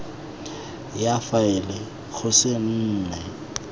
ya faele go se nne